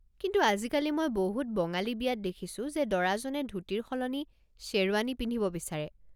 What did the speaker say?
কিন্তু আজিকালি মই বহুত বঙালী বিয়াত দেখিছো যে দৰাজনে ধূতিৰ সলনি শ্বেৰৱানী পিন্ধিব বিচাৰে।